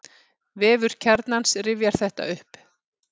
Vefur Kjarnans rifjar þetta upp.